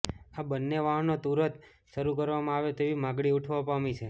આ બન્ને વાહનો તુરત શરૃ કરવામાં આવે તેવી માગણી ઉઠવા પામી છે